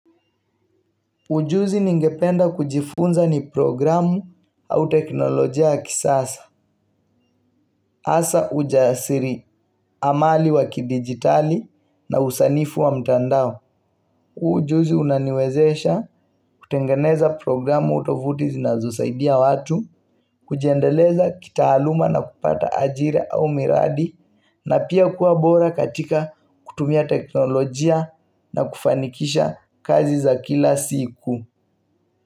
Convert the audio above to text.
Ujuzi ningependa kujifunza ni programu au teknolojia ya kisasa, asa ujasiri amali wakidigitali na usanifu wa mtandao. Ujuzi unaniwezesha kutengeneza programu utovutizi na zosaidia watu, kujiendeleza kitaaluma na kupata ajira au miradi, na pia kuwa bora katika kutumia teknolojia na kufanikisha kazi za kila siku.